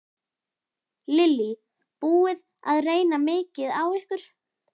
Lillý: Búið að reyna mikið á ykkur?